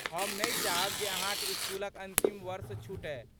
हम नहि चाहब जे अहाँक इस्कूलक अन्तिम वर्ष छूटय।